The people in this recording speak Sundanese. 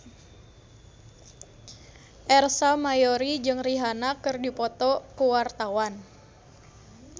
Ersa Mayori jeung Rihanna keur dipoto ku wartawan